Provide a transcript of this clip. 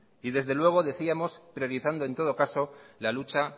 y desde luego decíamos priorizando en todo caso la lucha